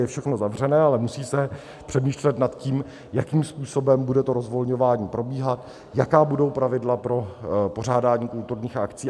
Je všechno zavřené, ale musí se přemýšlet nad tím, jakým způsobem bude to rozvolňování probíhat, jaká budou pravidla pro pořádání kulturních akcí.